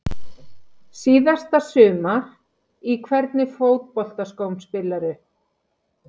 Síðasta sumar Í hvernig fótboltaskóm spilar þú?